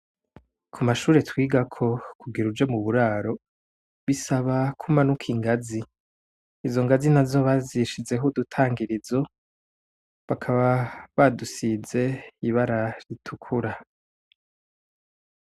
Ku mashure twigako, kugira uje mu buraro, bisaba ko umanuka ingazi. Izo ngazi nazo bazishizeho udutangirizo, bakaba badusize ibara ritukura.